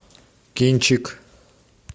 кинчик